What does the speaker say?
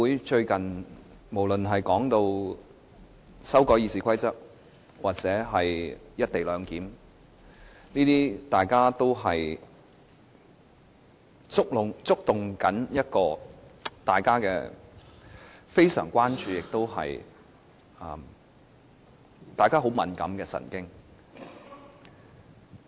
最近議會對修改《議事規則》或"一地兩檢"的討論，皆觸動了大家很敏感的神經，令人非常關注。